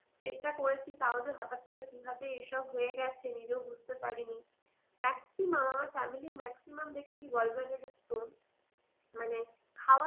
চেষ্টা করেছি তাও যে হঠাৎ করে কীভাবে এইসব হয়ে গেছে নিজেও বুঝতে পারিনি maximum আমার family এর maximum দেখেছি gallbladder এ stone, মানে খাওয়া